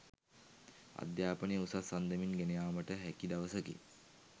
අධ්‍යාපනය උසස් අන්දමින් ගෙන යාමට හැකි දවසකි